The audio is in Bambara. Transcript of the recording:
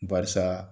Barisa